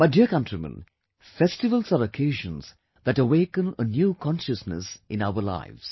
My dear countrymen, festivals are occasions that awaken a new consciousness in our lives